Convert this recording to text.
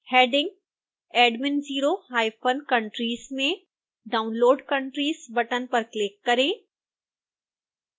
heading admin zero hyphen countries में download countries button पर click करें